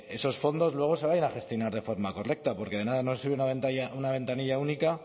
esos fondos luego se vayan a gestionar de forma correcta porque de nada nos sirve una ventanilla única